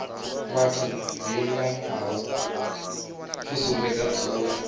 vhathu dzilinganaho fusumbe dza dzula